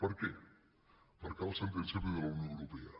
per què perquè la sentència ve de la unió europea